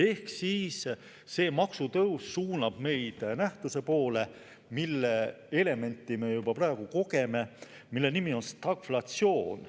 Ehk see maksutõus suunab meid nähtuse poole, mille elementi me juba praegu kogeme – selle nimetus on stagflatsioon.